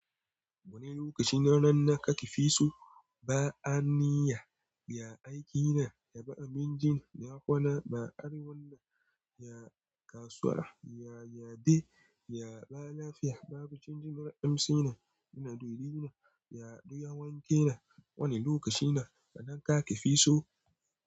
Wani lokaci na ranna ka ki fi so ba'a niyya, ya aikina, ya ba abincina, ya kwana ba ari wanan, ya kasuwa, ya yade, ya ba lafiya, babu canjin ra'amsi na, ina dorina, ya ado yawanke na. Wani lokaci na kaɗan ka ki fi so.